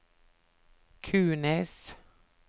Kunes